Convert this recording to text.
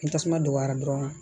Ni tasuma dɔgɔyara dɔrɔn